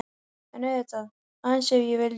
En auðvitað,- aðeins ef ég vildi.